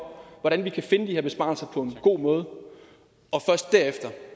hvordan vi kan finde de her besparelser på en god måde og først derefter